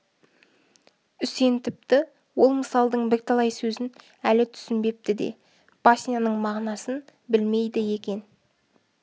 үсен тіпті ол мысалдың бірталай сөзін әлі түсінбепті де басняның мағынасын білмейді екен